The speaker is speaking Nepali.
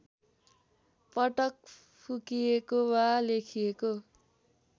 पटक फुकिएको वा लेखिएको